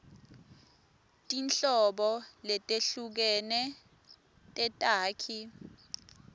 tinhlobo letehlukene tetakhi